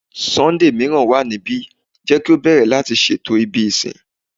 Sunday miiran wa nibi, jẹ ki o bẹrẹ lati ṣeto ibi isin